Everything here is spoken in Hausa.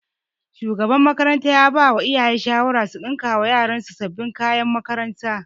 Shugaban makaranta ya bawa iyaye shawara su ɗinkawa yaran su sabin kayakin makaranta